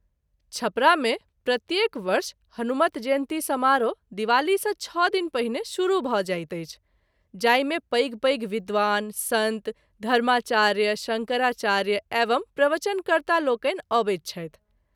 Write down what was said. छपरा मे प्रत्येक वर्ष हनुमत जयंती समारोह दिवाली सँ छ: दिन पहिने शुरू भ’ जाइत अछि, जाहि मे पैघ - पैघ विंद्वान, संत, धर्माचार्य, शंकराचार्य एवं प्रवचन कर्ता लोकनि आबैत छथि।